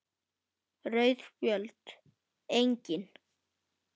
Rauð Spjöld: Engin.